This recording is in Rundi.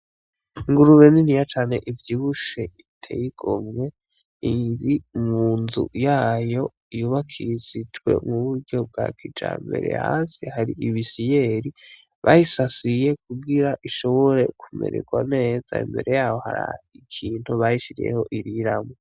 Ingurube niniya cane ivyibushe iteye igomwe, iri munzu yayo yubakishijwe mu buryo bwa kijambere, hasi hari ibisiyeri bayisasiye kugira ishobora kumererwa neza, imbere yayo harikintu bayishiriyeho iririmwo.